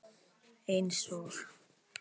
Eins og